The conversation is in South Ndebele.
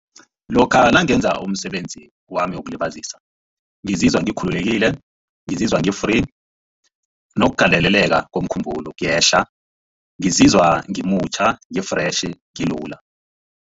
Lokha nangenza umsebenzi wami wokulibazisa ngizizwa ngikhululekile ngizizwa ngi-free nokugandeleleka komkhumbulo kuyehla ngizizwa ngimutjha ngi-fresh ngilula.